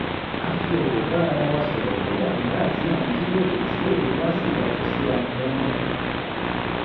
a fi ọ̀wọ̀ bá ara wa sọ̀rọ̀ kódà nígbà tí à ń jíròrò tí èrò wa sì yàtọ̀ síra gan-an